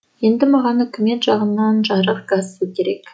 енді маған үкімет жағынан жарық газ су керек